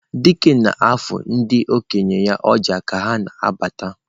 Dike na-afụ ndị okenye ya ọjà ka ha na-abata.